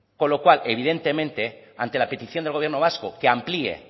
con lo cual evidentemente ante la petición del gobierno vasco que amplié